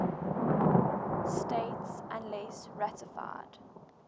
states unless ratified